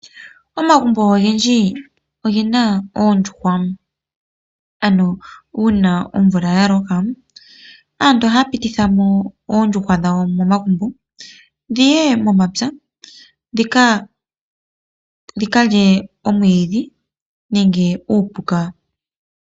Oondjugwa oha dhi munwa dhi vule okuliwa. Oha dhi zi woo omayi ngoka haga landitha opo ku monike oshimaliwa . Oondjuhwa oha dhi dhipagelwa woo aayenda.